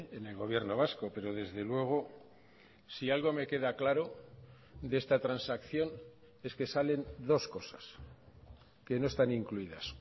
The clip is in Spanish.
en el gobierno vasco pero desde luego si algo me queda claro de esta transacción es que salen dos cosas que no están incluidas